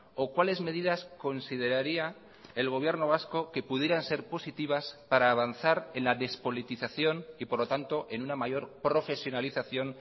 o cuáles medidas consideraría el gobierno vasco que pudieran ser positivas para avanzar en la despolitización y por lo tanto en una mayor profesionalización